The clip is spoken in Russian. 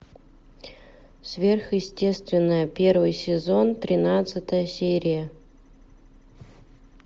сверхъестественное первый сезон тринадцатая серия